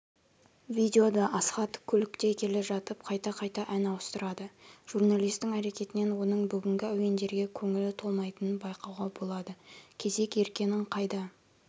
видеода асхат көлікте келе жатып қайта-қайта ән ауыстырады журналистің әрекетінен оның бүгінгі әуендерге көңілі толмайтынын байқауға болады кезек еркенің қайда